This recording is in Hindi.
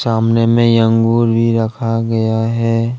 सामने में अंगूर भी रखा गया है।